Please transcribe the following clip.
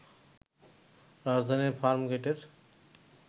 রাজধানীর ফার্মগেটের